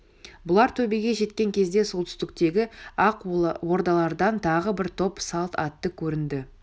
бұлар төбеге жеткен кезде солтүстіктегі ақ ордалардан тағы бір топ салт атты көрінді